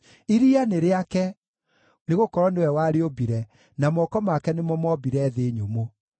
Iria nĩ rĩake, nĩgũkorwo nĩwe warĩũmbire, na moko make nĩmo moombire thĩ nyũmũ.